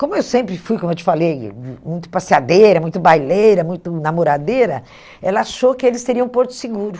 Como eu sempre fui, como eu te falei, muito passeadeira, muito baileira, muito namoradeira, ela achou que eles teriam um porto seguro.